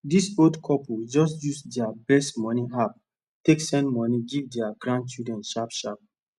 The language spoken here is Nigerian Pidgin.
dis old couple just use dia best moni app take send moni give dia grandchildren sharp sharp